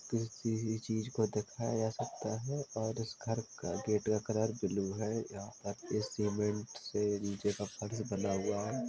किसी हुई चीज को दिखाया जा सकता है और उस घर का गेट का कलर ब्लू है यहां पर इस सीमेंट से नीचे का फर्ज बना हुआ है।